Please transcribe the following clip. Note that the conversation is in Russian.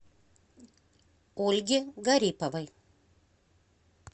ольги гариповой